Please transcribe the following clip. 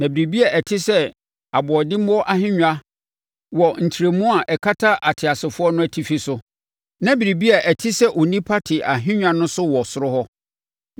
Na biribi a ɛte sɛ aboɔdemmoɔ ahennwa wɔ ntrɛmu a ɛkata ateasefoɔ no atifi so, na biribi a ɛte sɛ onipa te ahennwa so wɔ soro hɔ.